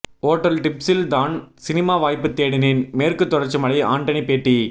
hotel டிப்சில் தான் cinema வாய்ப்பு தேடினேன் மேற்குத் தொடர்ச்சி மலை ஆண்டனி பேட்டி